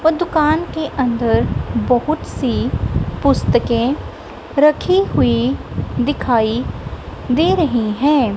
और दुकान के अंदर बहुत सी पुस्तके रखी हुई दिखाई दे रही हैं।